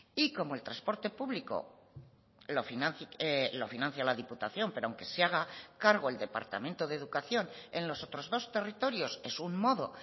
y como el transporte público lo financia la diputación pero aunque se haga cargo el departamento de educación en los otros dos territorios es un modo